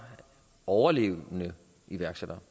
overlevende iværksættere